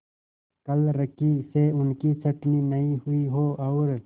क्लर्की से उनकी छँटनी न हुई हो और